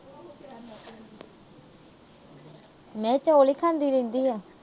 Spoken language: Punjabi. ਮੈਂ ਕਿਹਾ ਚੌਲ ਈ ਖਾਂਦੀ ਰਹਿੰਦੀ ਆ।